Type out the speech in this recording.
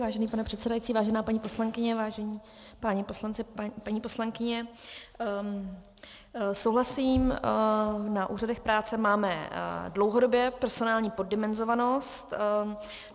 Vážený pane předsedající, vážená paní poslankyně, vážení páni poslanci, paní poslankyně, souhlasím, na úřadech práce máme dlouhodobě personální poddimenzovanost.